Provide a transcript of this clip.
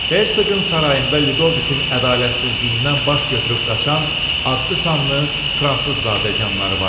Hersoqun sarayında Lidovikin ədalətsizliyindən baş götürüb qaçan adlı sanlı fransız zadəganları vardı.